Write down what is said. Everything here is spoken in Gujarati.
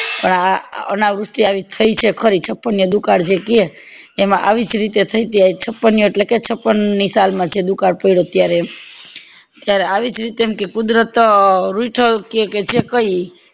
પણ આ અનાવૃષ્ટિ આવી થય છે ખરી ને દુકાળ જે કે તેમાં આવીજ રીતે થય હતી છાપ્નીય એટલે કે છપન ની સાલ માં જે દુકાળ પડ્યો ત્યારે ત્યારે આવીજ રીતે જેમ કે કુદરત રુઈધો કે કે જે કય ઈ